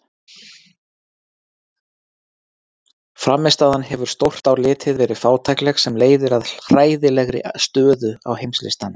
Frammistaðan hefur stórt á litið verið fátækleg sem leiðir að hræðilegri stöðu á heimslistanum.